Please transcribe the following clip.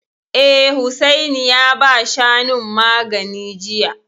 Eh, Hussaini ya ba Shanun magani jiya